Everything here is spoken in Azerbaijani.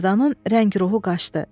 Mərdanın rəng-ruhu qaçdı.